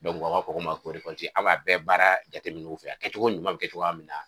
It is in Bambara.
aw b'a fɔ k'o ma ko a' b'a bɛɛ baara jatemin'u fɛ a kɛcogo ɲuman bɛ kɛ cogoya min na